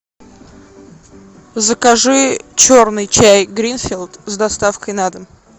закажи черный чай гринфилд с доставкой на дом